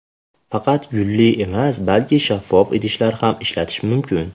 Faqat gulli emas, balki shaffof idishlar ham ishlatish mumkin.